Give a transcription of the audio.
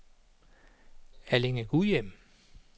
Allinge-Gudhjem